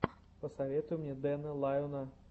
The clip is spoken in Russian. посоветуй мне дэна лайона